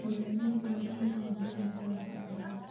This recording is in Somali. Beeralayda waa in ay helaan tababaro badan.